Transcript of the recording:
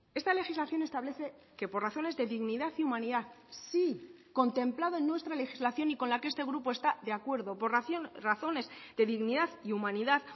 esta legislación establece que por razones de dignidad y humanidad sí contemplado en nuestra legislación y con la que este grupo está de acuerdo por razones de dignidad y humanidad